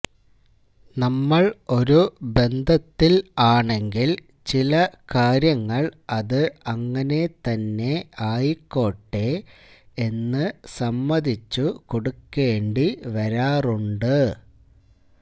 നമ്മള് ഒരു ബന്ധത്തില് ആണെങ്കില് ചില കാര്യങ്ങള് അത് അങ്ങനെ തന്നെ ആയിക്കോട്ടെ എന്ന് സമ്മതിച്ചു കൊടുക്കേണ്ടി വരാറുണ്ട്